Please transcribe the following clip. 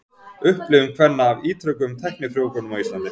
Upplifun kvenna af ítrekuðum tæknifrjóvgunum á Íslandi.